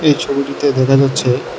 এই ছবিটিতে দেখা যাচ্ছে--